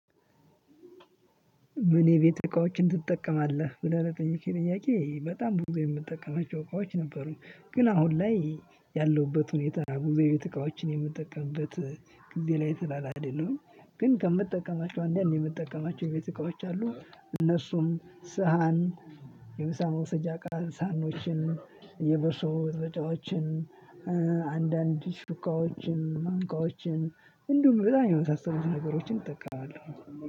ምን የቤት እቃዎችን ትጠቀማለህ ብለህ ለጠየከኝ ጥያቄ በጣም ብዙ የምጠቀማቸው እቃዎች ነበሩኝ። ግን አሁን ላይ ያለሁበት ሁኔታ ብዙ የቤት እቃዎችን የምጠቀምበት ጊዜ ላይ ስላላደለሁኝ። ግን ከምትጠቀማቸው አንዳንድ ምጠቀማቸው የቤት እቃዎች አሉ። እነሱም ሳህን የምሳ መውሰጃ እቃ ሳህኖችን የበሶ መበጥበጫዎችን። አንዳንድ ሹካዎችን ማንኪያዎችን እንዲሁም በጣም የመሳሰሉትን ነገሮችን እጠቀማለው።